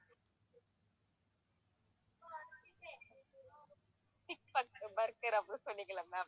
cheese bur~ burger அப்படின்னு சொன்னீங்கல்ல ma'am